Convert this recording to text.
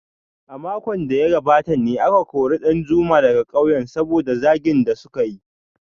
A makon da ya gabata ne aka kori Danjuma daga kauyen saboda zagin da suka yi